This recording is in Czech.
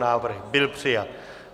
Návrh byl přijat.